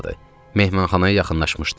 Mehmanxanaya yaxınlaşmışdıq.